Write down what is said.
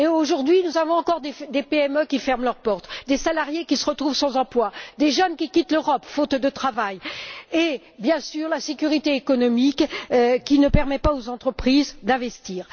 Or, aujourd'hui, nous avons encore des PME qui ferment leurs portes, des salariés qui se retrouvent sans emploi, des jeunes qui quittent l'Europe faute de travail et, bien sûr, l'insécurité économique qui ne permet pas aux entreprises d'investir.